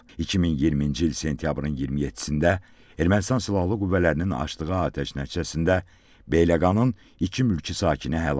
2020-ci il sentyabrın 27-də Ermənistan Silahlı Qüvvələrinin açdığı atəş nəticəsində Beyləqanın iki mülki sakini həlak olub.